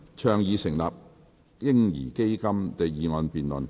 "倡議成立'嬰兒基金'"的議案辯論。